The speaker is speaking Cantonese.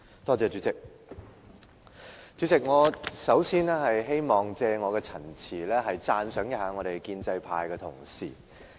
主席，我首先希望借我的陳辭，讚賞一下建制派的同事。